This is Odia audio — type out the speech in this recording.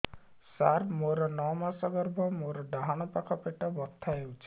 ସାର ମୋର ନଅ ମାସ ଗର୍ଭ ମୋର ଡାହାଣ ପାଖ ପେଟ ବଥା ହେଉଛି